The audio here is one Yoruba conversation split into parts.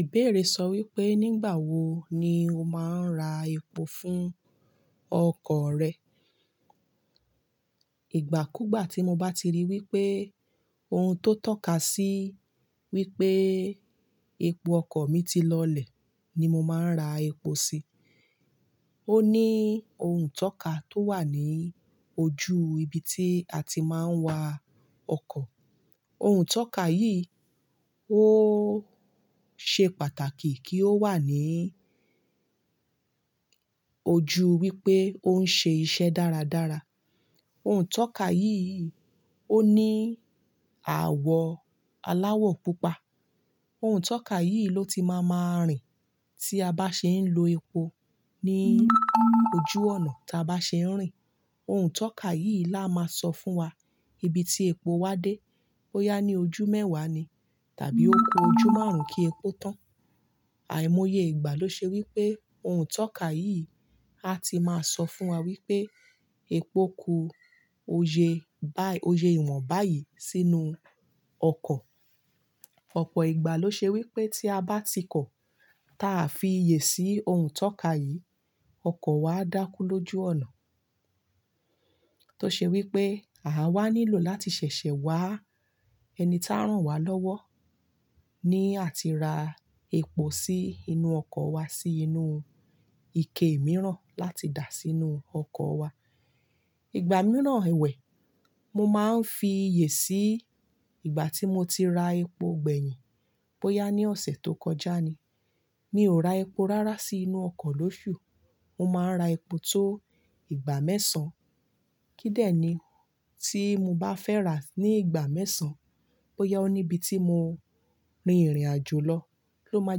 Ìbéèrè sọ wípé, nígbà wo ni o máa ń ra epo fún ọkọ̀ rẹ? Ìgbàkúgbà tí mo bá ti rí wípé ohun tó tọ́ka sí wípé epo ọkọ̀ mi ti lọlẹ̀ ni mo máa ń ra epo sí. Ó ní ohun itọ́ka tó wà ní ojú ibi tí a ti máa ń wa ọkọ̀. Ohun tọ́ka yìí ó ṣe pàtàkì kí ó wà ní ojú wípé ó ń ṣe iṣẹ́ dáradára. Ohun itọ́ka yìí ó ní àwọ̀ aláwọ̀ pupa. Ohun itọ́ka yìí ló ti máa máa rìn tí a bá ṣe ń lo epo ní ojú ọ̀nà tí a bá ṣe ń rìn. Ohun tọ́ka yìí la máa sọ fún wa ibi tí epo wa dé. Bóyá ní ojú mẹ́wàá ni tàbí ó kú ojú márùn-ún kí epo tán. Àìmọye ìgbà ló ṣe wípé ohun itọ́ka yìí a ti máa sọ fún wa wípé epo ku, ó ye bá, ó ye ìwọ̀n báyìí sínú ọkọ̀. Ọ̀pọ̀ ìgbà ló ṣe wípé tí a bá ti kọ̀, ta fi iyè sí ohun tọ́ka yìí, ọkọ̀ wa a dákú lójú ọ̀nà. Tó ṣe wípé à wa nílò láti ṣẹ̀ṣẹ̀ wá ẹni tá rán wa lọ́wọ́ ní àti ra epo sí inú ọkọ̀ wa sí inú ike mìíràn láti dà á sínú ọkọ̀ wa. Ìgbà mìíràn ẹwẹ̀, mo máa ń fi iyè sí ìgbà tí mo ti ra epo gbẹ̀yìn. Boyá ní ọ̀sẹ̀ tó kọjá ni. Mi ò ra epo rárá sí inú ọkọ̀ lóṣù. Mo máa ń ra epo tó ìgbà mẹ́sàn-án. Kídẹ̀ ni tí mo bá fẹ́ ra ní ìgbà mẹ́sàn-án, bóyá ó níbi tí mo rin ìrìnàjò lọ ló máa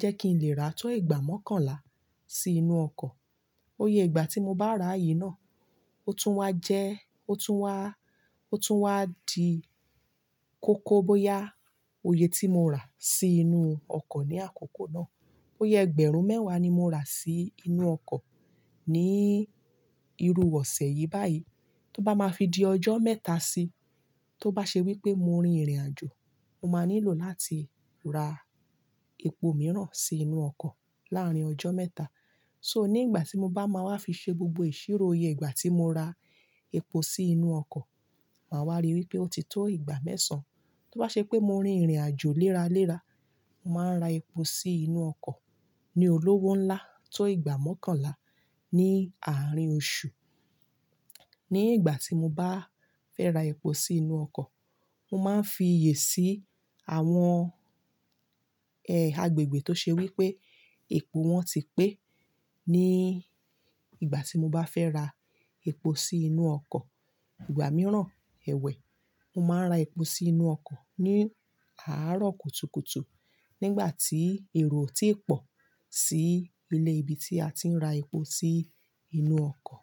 jẹ́ kí n lè ra tó ìgbà mọ́kànlá sí inú ọkọ̀. Iye ìgbà tí mo bá ra yí náà, ó tún wá jẹ ó tún wá di kókó bóyá oye tí mo rà sí inú ọkọ̀ ní àkókò náà. Bóyá ẹgbẹ̀rún mẹ́wàá ni mo rà sí inú ọkọ̀ ní ìrù ọ̀sẹ̀ yìí báyìí. Tó bá máa fi di ọjọ́ mẹ́ta sí, tó bá ṣe wípé mo rin ìrìnàjò, mo máa nílò láti ra epo mìíràn sí inú ọkọ̀ láàárín ọjọ́ mẹ́ta. So nígbà tí mo bá máa wá fi ṣe gbogbo ìṣirò iye ìgbà tí mo ra epo sí inú ọkọ̀, màá wá ríi wípé ó ti tó ìgbà mẹ́sàn-án. Tó bá ṣe pé mo rin ìrìnàjò léraléra, màá ra epo sí inú ọkọ̀ ní olówó ńlá tó ìgbà mọ́kànlá ní àárín oṣù. Ní ìgbà tí mo bá fẹ́ ra epo sí inú ọkọ̀, mo máa ń fi iyè sí àwọn agbègbè tó ṣe wípé epo wọn ti pé. Ní ìgbà tí mo bá fẹ́ ra epo sí inú ọkọ̀, ìgbà mìíràn ẹ̀wẹ̀, mo máa ń ra epo sí inú ọkọ̀ ní àárọ̀ kùtùkùtù nígbà tí èrò ò tíì pọ̀ sí ilé ibi tí a ti ń ra epo sí inú ọkọ̀.